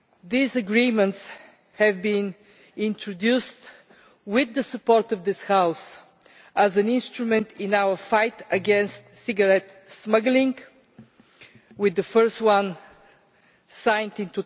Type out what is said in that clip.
These agreements have been introduced with the support of this House as an instrument in our fight against cigarette smuggling, with the first one signed in